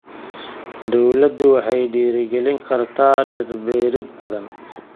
Dawladdu waxay dhiirigelin kartaa dhir beerid badan.